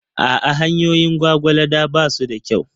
A'a, hanyoyin Gwagwalada ba su da kyau.